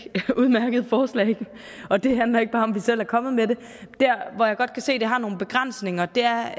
udmærket forslag og det handler ikke bare om at vi selv er kommet med der hvor jeg godt kan se det har nogle begrænsninger er